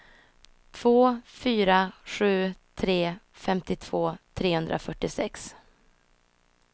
två fyra sju tre femtiotvå trehundrafyrtiosex